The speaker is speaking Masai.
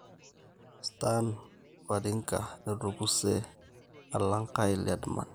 Stan Wawrinka etukuse alang Kyle Edmund.